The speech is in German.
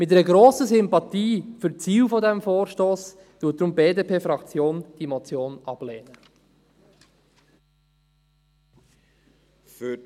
Mit einer grossen Sympathie für die Ziele des Vorstosses, lehnt die BDPFraktion diese Motion deshalb ab.